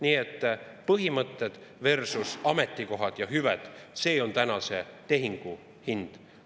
Nii et põhimõtted versus ametikohad ja hüved – see on tänase tehingu hind.